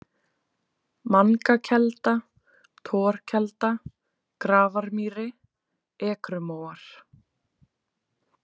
Mangakelda, Torkelda, Grafarmýri, Ekrumóar